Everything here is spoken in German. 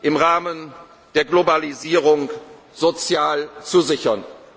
Wirtschaft im Rahmen der Globalisierung sozial zu